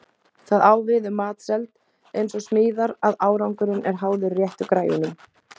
Það á við um matseld eins og smíðar að árangurinn er háður réttu græjunum.